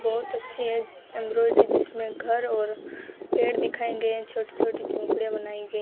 बहुत अच्छी एक एंब्रॉयडरी जिसमें घर और पेड़ दिखाई दे छोटी छोटी झोपड़ियां बनाई गई--